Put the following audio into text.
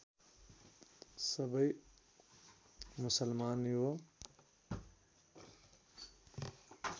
सबै मुसलमान यो